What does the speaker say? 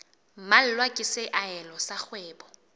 mmalwa ke seahelo sa kgwebo